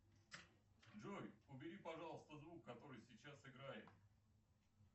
джой убери пожалуйста звук который сейчас играет